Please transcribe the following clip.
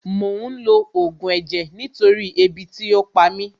Mò ń lo Ògùn ẹ̀jẹ̀ nítorí ebi tí ò pa mí